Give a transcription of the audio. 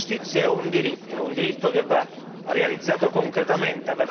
La giustizia è un diritto che va realizzato concretamente.